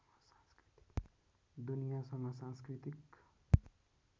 दुनियासँग सांस्कृतिक